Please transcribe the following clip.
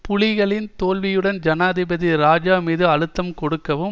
புலிகளின் தோல்வியுடன் ஜனாதிபதி இராஜா மீது அழுத்தம் கொடுக்கவும்